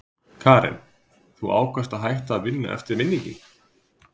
Karen: Þú ákvaðst að hætta að vinna eftir vinninginn?